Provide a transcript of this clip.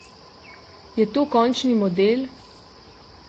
Je to končni model?